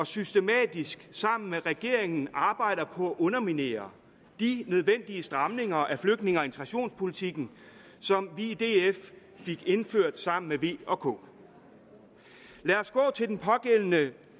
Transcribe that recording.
systematisk sammen med regeringen arbejder på at underminere de nødvendige stramninger af flygtninge og integrationspolitikken som vi i df fik indført sammen med v og k lad os gå til den pågældende